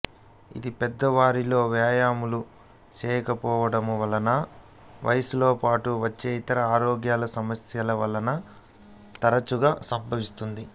ఇది పెద్దవారిలో వ్యాయామము చేయకపోవడము వలన వయసుతో పాటు వచ్చే ఇతర ఆరోగ్య సమస్యల వలన తరచుగా సంభవిస్తుంది